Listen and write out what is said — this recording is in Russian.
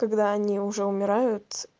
когда они уже умирают